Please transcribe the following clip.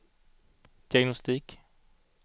diagnostik